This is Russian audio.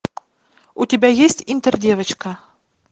у тебя есть интердевочка